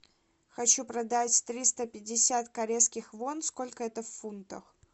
хочу продать триста пятьдесят корейских вон сколько это в фунтах